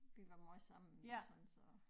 Vi var måj sammen og sådan så